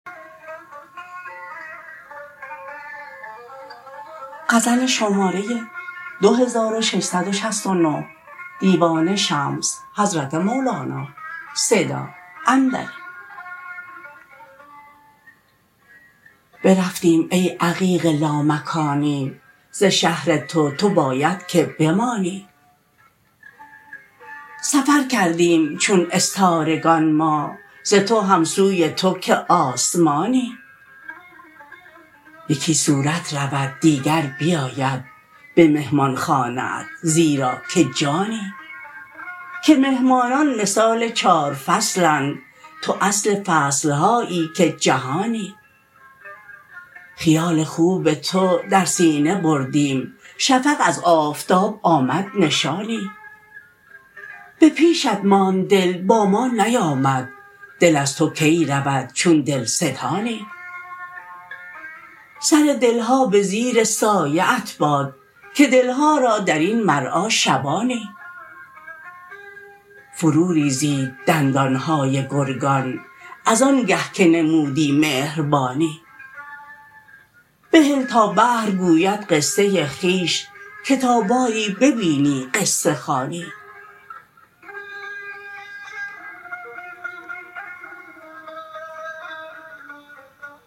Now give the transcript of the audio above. برفتیم ای عقیق لامکانی ز شهر تو تو باید که بمانی سفر کردیم چون استارگان ما ز تو هم سوی تو که آسمانی یکی صورت رود دیگر بیاید به مهمانخانه ات زیرا که جانی که مهمانان مثال چار فصلند تو اصل فصل هایی که جهانی خیال خوب تو در سینه بردیم شفق از آفتاب آمد نشانی به پیشت ماند دل با ما نیامد دل از تو کی رود چون دلستانی سر دل ها به زیر سایه ات باد که دل ها را در این مرعا شبانی فروریزید دندان های گرگان از آنگه که نمودی مهربانی بهل تا بحر گوید قصه خویش که تا باری ببینی قصه خوانی